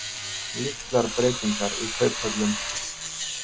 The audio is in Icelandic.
Litlar breytingar í kauphöllum